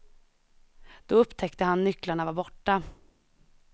Då upptäckte han nycklarna var borta.